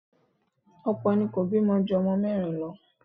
Ọ̀pọ̀ ni kò bímọ ju ọmọ mẹ́rin lọ.